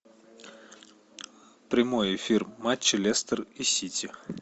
прямой эфир матча лестер и сити